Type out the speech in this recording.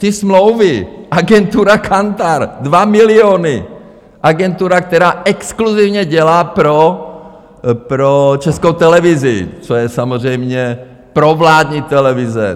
Ty smlouvy, agentura Kantar, 2 miliony, agentura, která exkluzivně dělá pro Českou televizi, což je samozřejmě provládní televize.